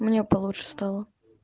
мне получше стало